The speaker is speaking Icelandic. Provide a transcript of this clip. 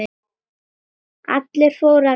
Allir fóru að gráta.